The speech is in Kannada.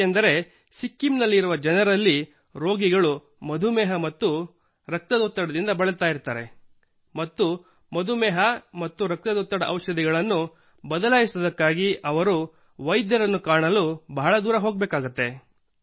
ಏಕೆಂದರೆ ಸಿಕ್ಕಿಂನಲ್ಲಿರುವ ಜನರಲ್ಲಿ ರೋಗಿಗಳು ಮಧು ಮೇಹ ಮತ್ತು ಹೈಪರ್ ಟೆನ್ಷನ್ ನಿಂದ ಬರುತ್ತಾರೆ ಮತ್ತು ಮಧು ಮೇಹ ಮತ್ತು ಹೈಪರ್ ಟೆನ್ಷನ್ ಔಷಧಗಳನ್ನು ಬದಲಾಯಿಸುವುದಕ್ಕಾಗಿ ಅವರು ವೈದ್ಯರನ್ನು ಕಾಣಲು ಬಹಳ ದೂರ ಹೋಗಬೇಕಾಗುತ್ತದೆ